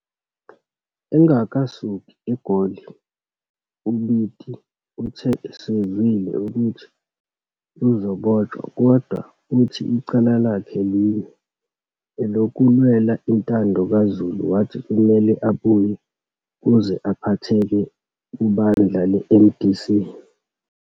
Engakasuki eGoli uBiti uthe usezwile ukuthi uzabotshwa, kodwa uthi icala lakhe linye elokulwela intando kazulu wathi kumele abuye ukuze aphatheke kubandla leMDC.